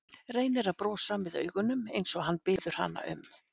Reynir að brosa með augunum eins og hann biður hana um.